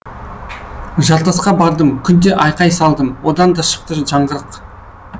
жартасқа бардым күнде айқай салдым одан да шықты жаңғырық